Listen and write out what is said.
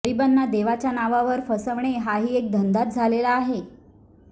गरिबांना देवाच्या नावावर फसवणे हाही एक धंदाच झालेला आहे